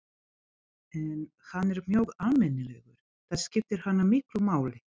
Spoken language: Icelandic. En hann er mjög almennilegur, það skiptir hana miklu máli.